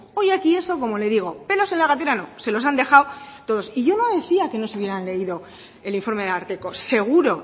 hoy aquí eso como le digo pelos en la gatera no se los han dejado todos y yo no decía que no se hubieran leído el informe del ararteko seguro